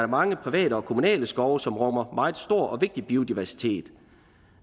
mange private og kommunale skove som rummer meget stor og vigtig biodiversitet